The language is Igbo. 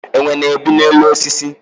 Enwe na-ebi n'elu osisi